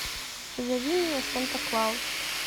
зови меня санта клаус